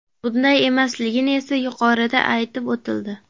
Bunday emasligi esa yuqorida aytib o‘tildi.